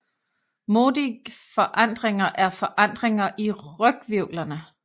Modic forandringer er forandringer i ryghvirvlerne